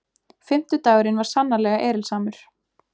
Fimmtudagurinn var sannarlega erilsamur.